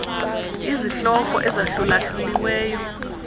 izihloko ezahlula hluliweyo